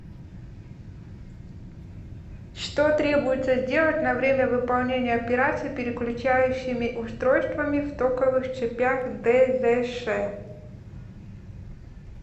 что требуется сделать на время выполнения операций переключающими устройствами в токовых цепях дзш